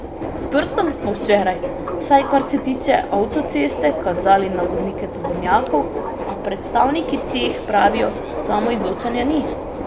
S prstom smo včeraj, vsaj kar se tiče avtoceste, kazali na voznike tovornjakov, a predstavniki teh pravijo, samoizločanja ni.